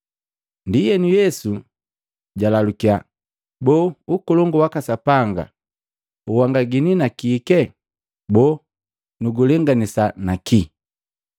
Ndienu Yesu jalalukiya, “Boo Ukolongu waka Sapanga uwanangini na kike? Boo nu gulenganisa nakii?